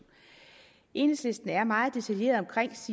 enhedslisten er meget detaljeret